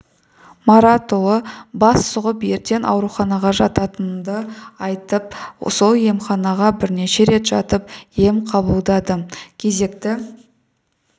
маратұлы бас сұғып ертең ауруханаға жататынымды айтты сол емханаға бірнеше рет жатып ем қабылдадым кезекті